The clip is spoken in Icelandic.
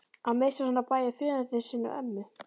Að missa svona bæði föður sinn og ömmu